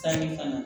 Sanni ka na